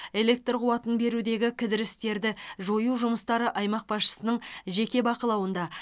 электр қуатын берудегі кідірістерді жою жұмыстары аймақ басшысының жеке бақылауында